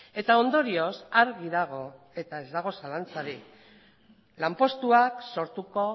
eta ondorioz argi dago eta ez dago zalantzarik lanpostuak sortuko